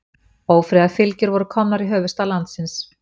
Ófriðarfylgjur voru komnar í höfuðstað landsins.